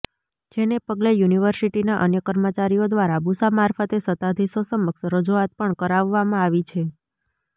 જેને પગલે યુનિવર્સિટીના અન્ય કર્મચારીઓ દ્વારા બુસા મારફતે સત્તાધીશો સમક્ષ રજૂઆત પણ કરાવવામાં આવી છે